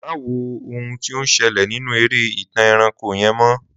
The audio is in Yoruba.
Má wo ohun tí ó ń ṣẹlẹ̀ nínú eré ìtàn ẹranko yẹn mó